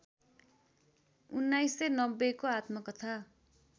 १९९० को आत्मकथा